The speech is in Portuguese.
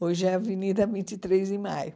Hoje é a Avenida vinte e três de maio.